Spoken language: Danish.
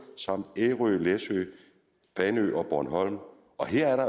samt ærø læsø fanø og bornholm og her er der